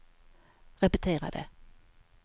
repetera det